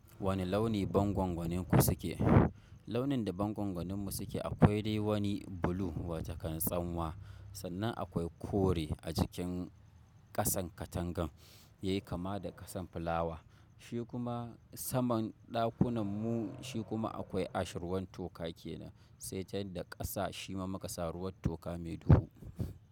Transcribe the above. Wane launi bangongonin ku suke? Launin da bangon goninmu suke akwai dai wani blue wato kan tsanwa, sannan akwai kore a jikin kasan katangan yayi kama da kasan fulawa. Shi kuma saman ɗakunan mu shi kuma akwai ash ruwan toka kenan, sai dai da ƙasa shi ma makasa ruwan toka mai duhu.